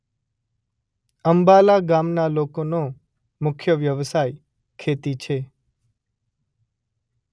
અંબાલા ગામના લોકોનો મુખ્ય વ્યવસાય ખેતી છે.